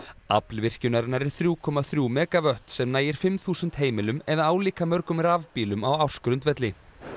Afl virkjunarinnar er þriggja komma þriggja megavött sem nægir fimm þúsund heimilum eða álíka mörgum rafbílum á ársgrundvelli